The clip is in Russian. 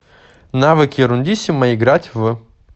навык ерундиссимо играть в